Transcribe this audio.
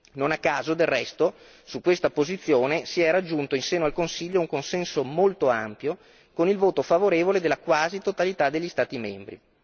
Non a caso, del resto, su questa posizione si è raggiunto in seno al Consiglio un consenso molto ampio con il voto favorevole della quasi totalità degli Stati membri.